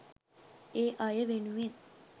ඒ අය වෙනුවෙන්.